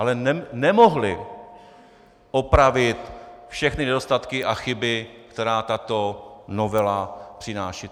Ale nemohli opravit všechny nedostatky a chyby, které tato novela přináší.